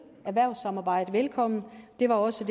erhvervssamarbejde hilses velkommen det var også